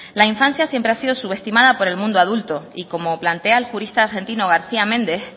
la infancia siempre ha sido subestimada por el mundo adulto y como plantea el jurista argentino garcía méndez